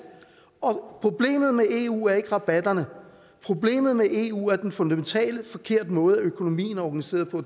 problemet med eu er ikke rabatterne problemet med eu er den fundamentalt forkerte måde økonomien er organiseret på